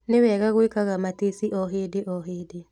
Nĩwega gwĩkaga matici o hĩndĩo hĩndĩ.